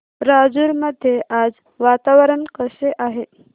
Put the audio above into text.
राजूर मध्ये आज वातावरण कसे आहे